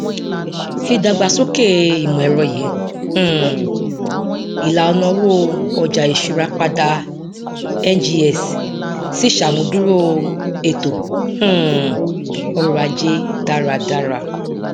ìdàgbàsókè ìmọẹrọ yí um ìlànà òwò ọjà ìṣura padà ngx sì ṣàmúdúró ètò um ọrọajé dáradára